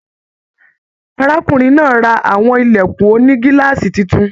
Arákùnrin náà rà àwọn ilẹkùn ònígíláàsì títún.